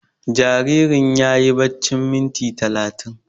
Jaririn yayi baccin minti talatin